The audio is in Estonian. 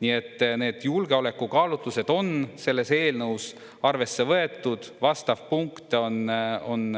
Nii et need julgeolekukaalutlused on selles eelnõus arvesse võetud, vastav punkt on